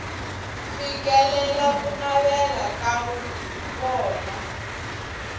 fikelela ku navela ka vona